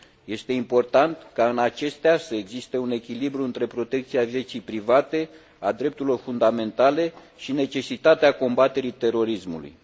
Este important ca în acestea să existe un echilibru între protecția vieții private, a drepturilor fundamentale și necesitatea combaterii terorismului.